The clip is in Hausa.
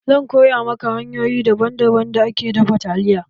Zan koya maka hanyoyin daban daban da ake dafa taliya.